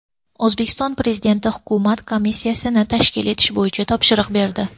O‘zbekiston Prezidenti hukumat komissiyasini tashkil etish bo‘yicha topshiriq berdi.